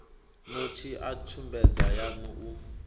notsi a tsumbedzo yan u